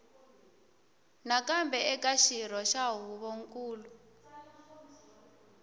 nakambe eka xirho xa huvonkulu